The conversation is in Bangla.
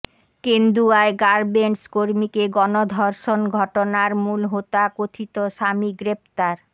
কেন্দুয়ায় গার্মেন্টস কর্মীকে গণধর্ষণ ঘটনার মূলহোতা কথিত স্বামী গ্রেফতার